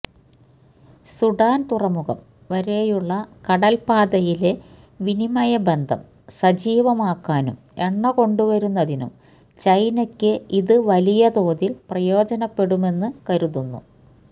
Sudan തുറമുഖം വരെയുള്ള കടൽപ്പാതയിലെ വിനിമയ ബന്ധം സജീവമാക്കാനും എണ്ണകൊണ്ടുവരുന്നതിനും ചൈനയ്ക്ക് ഇത് വലിയ തോതിൽ പ്രയോജനപ്പെടുമെന്ന് കരുതുന്നു